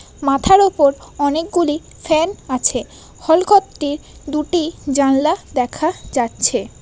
মাথার ওপর অনেক গুলি ফ্যান আছে হলঘরটির দুটি জানলা দেখা যাচ্ছে ।